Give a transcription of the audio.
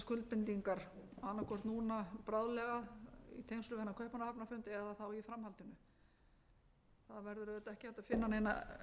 hvort núna bráðlega í tengslum við kaupmannahafnarfundinn eða þá í framhaldinu það verður auðvitað ekki hægt að finna neina